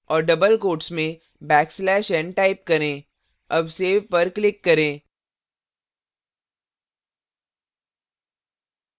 और double quotes में backslash n type करें double save पर click करें